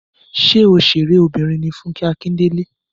Ṣé òṣèré obìrin ní Fúnkẹ́ Akíndélé